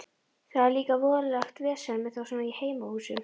Það er líka voðalegt vesen með þá svona í heimahúsum.